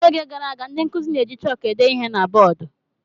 N'oge gara aga, ndị nkuzi na-eji chọọkụ ede ihe na bọọdụ.